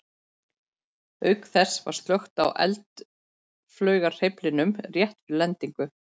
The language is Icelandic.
Auk þess var slökkt á eldflaugarhreyflinum rétt fyrir lendingu.